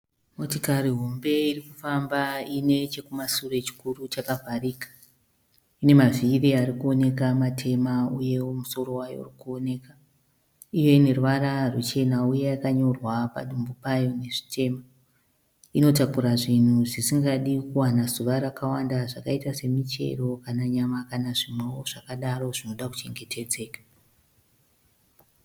Motikari hombe iri kufamba iine chekumashure chikuru chakavharika. Ine mavhiri ari kuoneka matema uyewo musoro wayo uri kuoneka. Iyo ine ruvara ruchena uye yakanyorwa padumbu payo nezvitema. Inotakura zvinhu zvasingadi kuwana zuva rakawanda zvakaita semuchero kana nyama kana zvimwewo zvakadaro zvinoda kuchengetedzeka.